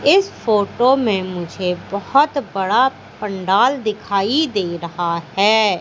इस फोटो में मुझे बहोत बड़ा पंडाल दिखाई दे रहा है।